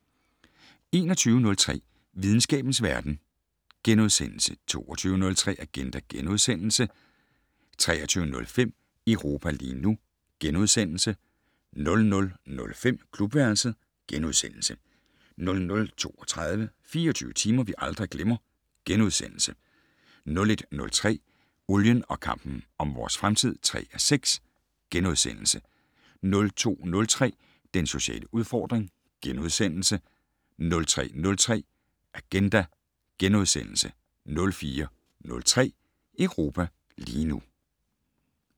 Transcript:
21:03: Videnskabens verden * 22:03: Agenda * 23:05: Europa lige nu * 00:05: Klubværelset * 00:32: 24 timer, vi aldrig glemmer * 01:03: Olien og kampen om vores fremtid (3:6)* 02:03: Den sociale udfordring * 03:03: Agenda * 04:03: Europa lige nu *